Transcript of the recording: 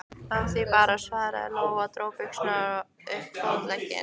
Af því bara, svaraði Lóa og dró buxurnar upp fótleggina.